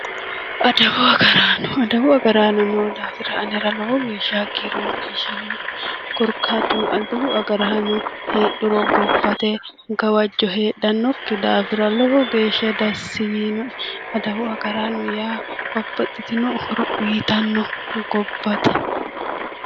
Adawu agaraano:-Adawu agaraanno noo daafira anera lowo fagiiri maciishshamannoe korikaattuno adawu agaraanno heedhuro gobbate gawajjo heedhanoki daafira lowo geeshshadassi yiinoe adawu agaraanno yaa babaxittino horo uuyitanno gobatte